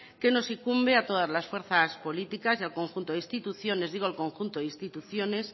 que nos incumbe a todas las fuerzas políticas y al conjunto de instituciones digo el conjunto de instituciones